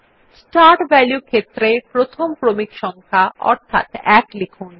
start value ক্ষেত্রে প্রথম ক্রমিক সংখ্যা অর্থাৎ 1 লিখুন